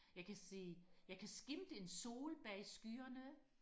jeg kan se jeg kan skimte en sol bag skyerne